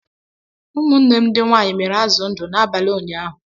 Ụmụnne m ndị nwanyị miri azụ ndu n'abalị ụnyaahụ